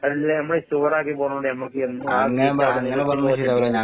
എല്ലാം ഇമ്മള് ഷുവറാക്കി പോണോണ്ട് നമ്മക്ക് എന്നും ആ സീറ്റവിടെ നിലനിര്‍ത്തി പോന്നിട്ടുണ്ട് .